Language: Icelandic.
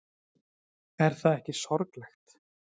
Er það ekki sorglegt?